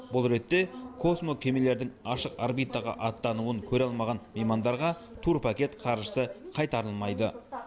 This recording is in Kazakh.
бұл ретте космокемелердің ашық орбитаға аттануын көре алмаған меймандарға турпакет қаржысы қайтарылмайды